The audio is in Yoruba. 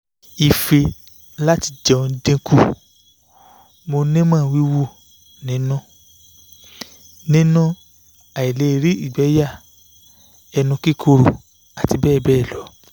ife lati jeun dinku mo nimo wiwu ninu ninu aile ri igbe ya enu kikoro ati bebelo